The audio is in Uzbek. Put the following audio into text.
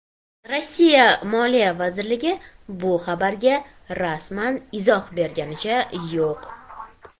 Rossiya moliya vazirligi bu xabarga rasman izoh berganicha yo‘q.